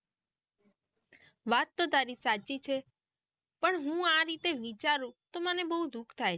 વાત તો તારી સાચી છે પણ હું આ રીતે વિચારું તો મને બહુ દુઃખ થાય.